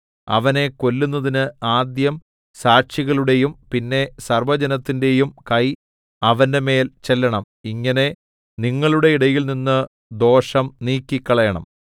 അവനെ കൊല്ലുന്നതിന് ആദ്യം സാക്ഷികളുടെയും പിന്നെ സർവ്വജനത്തിന്റെയും കൈ അവന്റെമേൽ ചെല്ലണം ഇങ്ങനെ നിങ്ങളുടെ ഇടയിൽനിന്ന് ദോഷം നീക്കിക്കളയണം